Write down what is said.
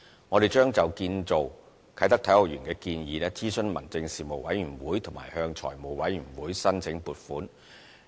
我們將就建造啟德體育園的建議諮詢民政事務委員會和向財務委員會申請撥款。